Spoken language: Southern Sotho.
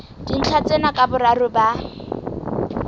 dintlha tsena ka boraro ba